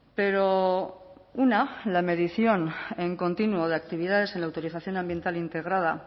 pero una la medición en continuo de actividades en la autorización ambiental integrada